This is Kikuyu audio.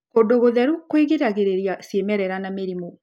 Kũndũ gũtheru kũgiragĩrĩria cĩimerera na mĩrimũ.